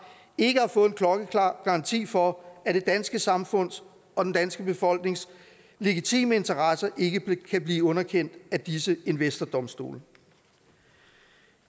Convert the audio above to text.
ikke har fået en klokkeklar garanti for at det danske samfunds og den danske befolknings legitime interesser ikke kan blive underkendt af disse investordomstole